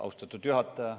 Austatud juhataja!